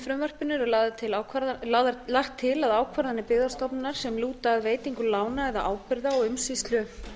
frumvarpinu er lagt til að ákvarðanir byggðastofnunar sem lúta að veitingu lána eða ábyrgða og